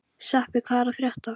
Sveppi, hvað er að frétta?